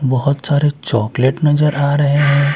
बहुत सारे चॉकलेट नजर आ रहे हैं।